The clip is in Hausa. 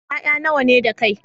Ƴaƴa nawa ne da kai?